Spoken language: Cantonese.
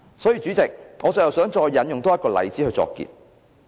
代理主席，我最後想再引用一個例子作結。